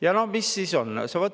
Ja noh, mis siis on?